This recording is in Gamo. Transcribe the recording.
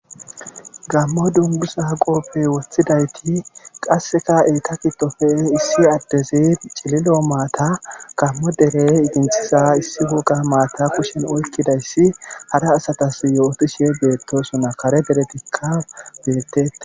Gaammo dungguza qoope wothidayti qasseka eeta giddofe issi addezi cililo maata nu dere idinthiza issi woga maata kushen oykkidayssi hara asatas yootishe beettoosona kara derettikka beetette.